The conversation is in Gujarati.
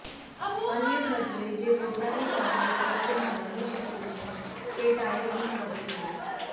અન્ય ખર્ચે જે પોતાની પાસે ખર્ચમાં રમી શકે છે તે ટાયરનું કદ છે